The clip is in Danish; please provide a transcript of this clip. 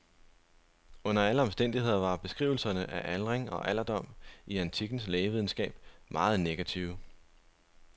Under alle omstændigheder var beskrivelserne af aldring og alderdom i antikkens lægevidenskab meget negative.